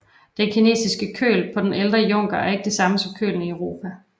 Den kinesiske køl på de ældre junker er ikke det samme som kølen i Europa